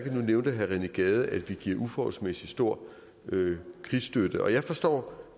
nævnte herre rené gade at vi giver en uforholdsmæssig stor krigsstøtte og jeg forstår